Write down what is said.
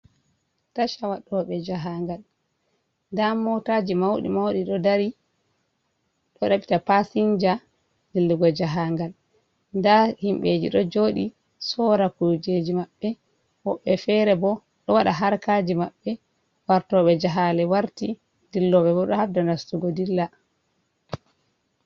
acha waɗoɓe jahaangal da motaji mawɗi mawɗi ɗo ɗaɓɓita paasinja dillugo jahaangal. Ndaa himɓeji ɗo jooɗi sora kujeji maɓɓe. Woɓɓe feere bo ɗo waɗa harkaji maɓɓe, wartoɓe jahale warti ,dilloɓe ɗo habda nastugo dilla.